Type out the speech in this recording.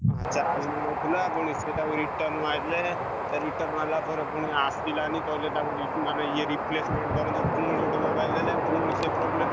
Charge ନଉନଥିଲା ପୁଣି ସେ ତାକୁ return ମାରିଲେ ତାକୁ return ମାରିଲା ପରେ ପୁଣି ଆସିଲାନି କହିଲେ ତାକୁ ରି ମନେ ଇଏ replacement ତମେ ଯୋଉ ପୁଣି ଗୋଟେ mobile ଦେଲେ ପୁଣି ସେ problem ।